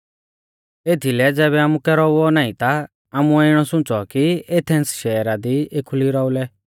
एथीलै ज़ैबै आमुकै रौउऔ नाईं ता आमुऐ इणौ सुंच़ौ कि एथेंस शैहरा दी एखुली रौउलै